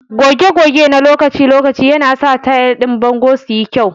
Goge goge na lokaci-lokaci yanasa tayal din bango su yi kyau.